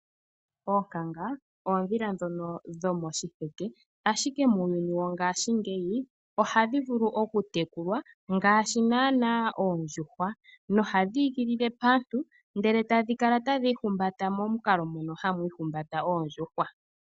Oonkanga, oondhila ndhono dhomoshiheke, ashike muuyuni wongashingeyi, ohadhi vulu okutekulwa ngaashi naanaa oondjuhwa, nohadhi igilile paantu, ndele tadhi kala tadhi ihumbata momukalo mono hamu ihumbata oondjuhwa.